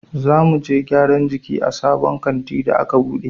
Za muje gyaran jiki a sabon kantin da a ka buɗe.